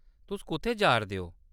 तुस कुʼत्थै जा’रदे ओ ?